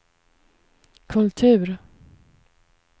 kultur